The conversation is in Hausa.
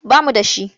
Ba mu da shi.